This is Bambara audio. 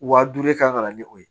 Wa duuru ye kan ka na ni o ye